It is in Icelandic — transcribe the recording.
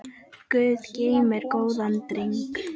Guð geymir góðan dreng.